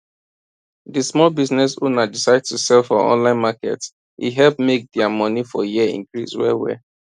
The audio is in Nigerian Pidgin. di small business owner decide to sell for online market e help make their money for year increase well well